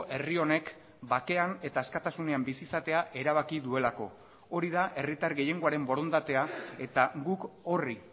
herri honek bakean eta askatasunean bizi izatea erabaki duelako hori da herritar gehiengoaren borondatea eta guk horri